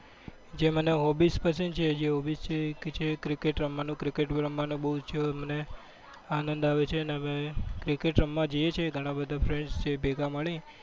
જે મને hobbies પસંદ છે. જે hobbies છે. ઈ cricket રમવાનો. cricket રમવાનો બૌ જ મને આનંદ આવે છે. અમે cricket રમવા જઈએ છીએ ઘણા બધા friend જે ભેગા મળી.